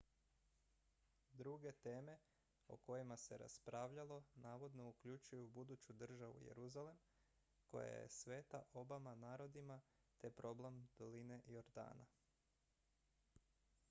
druge teme o kojima se raspravljalo navodno uključuju buduću državu jeruzalem koja je sveta obama narodima te problem doline jordana